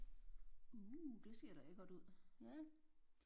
Uh det ser da lækkert ud ja